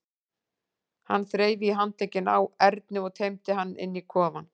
Hann þreif í handlegginn á Erni og teymdi hann inn í kofann.